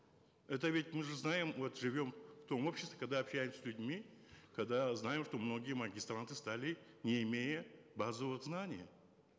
это ведь мы же знаем вот живем в том обществе когда общаемся с людьми когда знаем что многие магистранты стали не имея базовых знаний